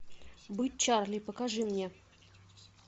быть чарли покажи мне